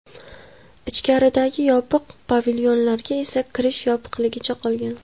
Ichkaridagi yopiq pavilyonlarga esa kirish yopiqligicha qolgan.